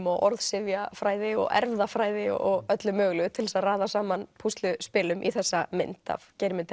og orðsifjafræði og erfðafræði og öllu mögulegu til þess að raða saman púsluspilum í þessa mynd af Geirmundi